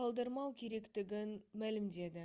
қалдырмау керектігін мәлімдеді